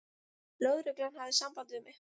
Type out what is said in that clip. Lögreglan hafði samband við mig.